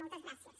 moltes gràcies